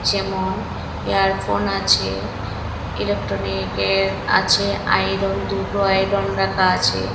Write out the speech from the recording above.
যেমন ইয়ারফোন আছে ইলেকট্রনিকের আছে আয়রন দুটো আয়রন রাখা আছে।